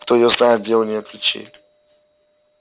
кто её знает где у неё ключи